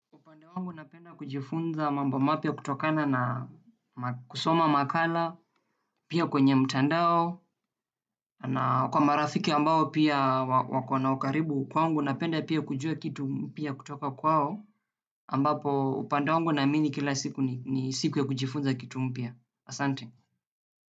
Upande wangu napenda kujifunza mambo mapia kutokana na kusoma makala pia kwenye mtandao na kwa marafiki ambao pia wako na ukaribu kwa wangu napenda pia kujua kitu kipia kutoka kwao ambapo upande wangu naamini kila siku ni siku ya kujifunza kitu mpia. Asante.